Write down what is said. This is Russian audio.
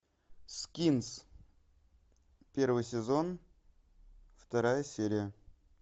скинс первый сезон вторая серия